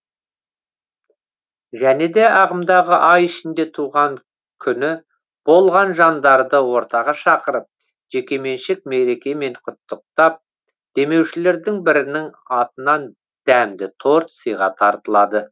және де ағымдағы ай ішінде туған күні болған жандарды ортаға шақырып жекеменшік мерекемен құттықтап демеушілердің бірінің атынан дәмді торт сыйға тартылады